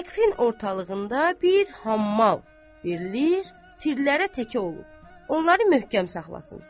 Səqfin ortalığında bir hammal verilir, tirlərə təkə olub, onları möhkəm saxlasın.